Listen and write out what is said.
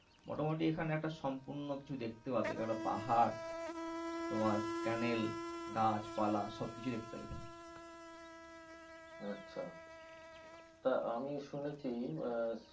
মোটামুটি এখানে একটা সম্পূর্ণ কিছু দেখতে পাবে। একটা পাহাড় তোমার canal গাছ পালা সবকিছু দেখতে পাবে এখানে । আচ্ছা। টা আমি শুনেছি।